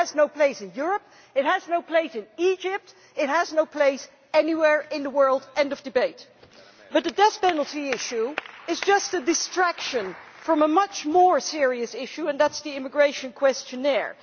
It has no place in Europe, it has no place in Egypt, it has no place anywhere in the world end of debate. But the death penalty issue is just a distraction from a much more serious issue and that is the immigration questionnaire.